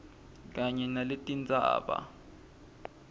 kanye naletinye tindzaba